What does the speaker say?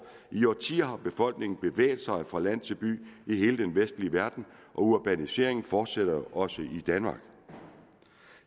i årtier har befolkningen bevæget sig fra land til by i hele den vestlige verden og urbaniseringen fortsætter jo også i danmark